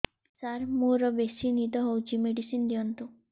ସାର ମୋରୋ ବେସି ନିଦ ହଉଚି ମେଡିସିନ ଦିଅନ୍ତୁ